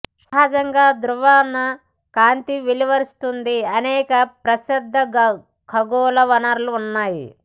సహజంగా ధ్రువణ కాంతి వెలువరిస్తుంది అనేక ప్రసిద్ధ ఖగోళ వనరులు ఉన్నాయి